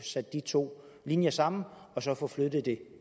sat de to linjer sammen og så få flyttet det